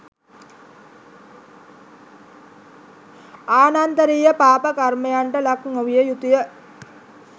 ආනන්තරිය පාප කර්මයන්ට ලක් නොවිය යුතු ය